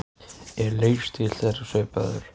Er leikstíll þeirra svipaður?